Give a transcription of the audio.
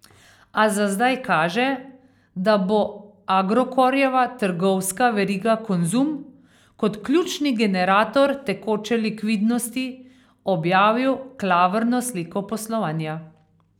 A za zdaj kaže, da bo Agrokorjeva trgovska veriga Konzum kot ključni generator tekoče likvidnosti objavil klavrno sliko poslovanja.